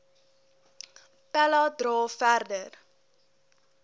pella dra verder